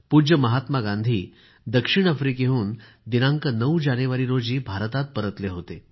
पूज्य महात्मा गांधी दक्षिण आफ्रिकेवरून दिनांक 9 जानेवारी रोजी भारतात परतले होते